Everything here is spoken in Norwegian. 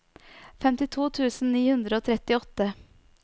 femtito tusen ni hundre og trettiåtte